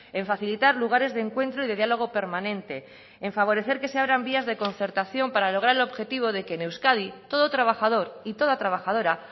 en facilitar lugares de encuentro y de diálogo permanente en favorecer que se abran vías de concertación para lograr el objetivo de que en euskadi todo trabajador y toda trabajadora